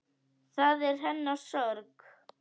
Það er hennar sorg.